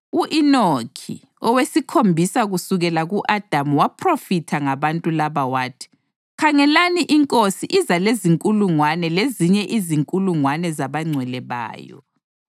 U-Enoki, owesikhombisa kusukela ku-Adamu waphrofitha ngabantu laba wathi: “Khangelani, iNkosi iza lezinkulungwane lezinye izinkulungwane zabangcwele bayo